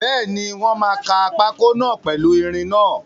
Bẹ́ẹ̀ni, wọ́n máa kaa pákó náà pèlu ìrìn náà